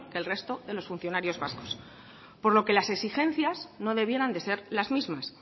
que el resto de los funcionarios vascos por lo que las exigencias no debieran de ser las mismas